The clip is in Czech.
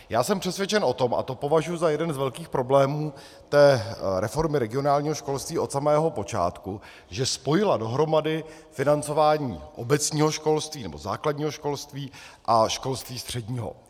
Já jsem přesvědčen o tom, a to považuji za jeden z velkých problémů té reformy regionálního školství od samého počátku, že spojila dohromady financování obecního školství, nebo základního školství, a školství středního.